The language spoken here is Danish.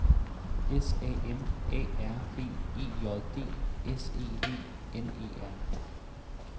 S A M A R B E J D S E V N E R